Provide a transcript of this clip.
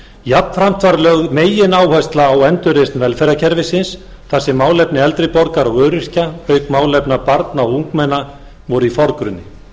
jafnframt var lögð megináhersla á endurreisn velferðarkerfisins þar sem málefni eldri borgara og öryrkja auk málefna barna og ungmenna voru í forgrunni